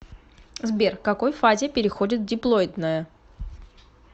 сбер к какой фазе переходит диплоидная